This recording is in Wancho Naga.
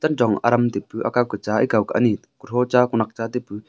chen chong adam taipu ekaw ke cha ekaw ke ani kutha ta kunak cha taipu.